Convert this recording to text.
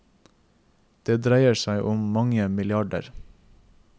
Det dreier seg om mange milliarder.